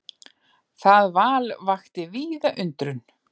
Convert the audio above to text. Það val vakti víða undrun.